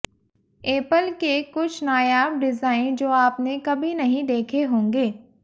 Apple के कुछ नायाब डिज़ाइन जो आपने कभी नहीं देखे होंगे